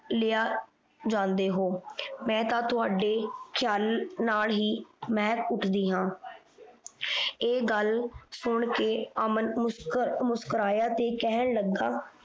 ਲਿਆ ਜਾਂਦੇ ਹੋ ਮੈਂ ਤਾਂ ਥੋੜੇ ਖਿਆਲਾਂ ਨਾਲ ਹੀ ਮੈਂ ਉੱਠਦੀ ਹਾਂ ਇਹ ਗੱਲ ਸੁਣ ਕ ਅਮਨ ਮੁਸਕੁਰਾਇਆ ਤੇ ਕਹਿਣ ਲੱਗਾ